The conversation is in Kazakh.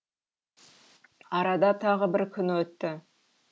арада тағы бір күн өтті